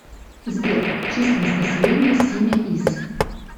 сбер численность населения симеиз